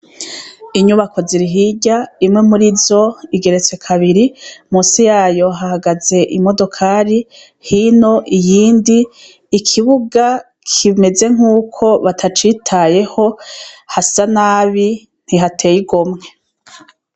Inyubako zirihirya imwe muri zo igeretswe kabiri musi yayo hahagaze imodokari hino iyindi ikibuga kimeze nk'uko batacitayeho hasa nabi ntihateyiromwe.